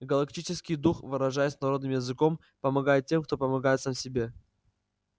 галактический дух выражаясь народным языком помогает тем кто помогает сам себе